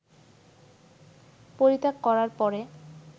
পরিত্যাগ করার পরে